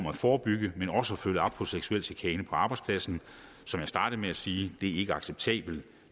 at forbygge men også følge op på seksuel chikane på arbejdspladsen som jeg startede med at sige det er ikke acceptabelt